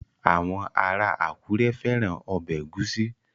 Àwọn ará Àkúrẹ́ fẹ́ran ọbẹ̀ ẹ̀gúsí